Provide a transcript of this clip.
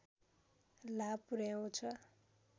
लाभ पुर्‍याउँछ